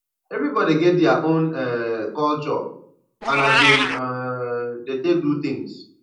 everybody get dia own um culture and as dem um dey take do things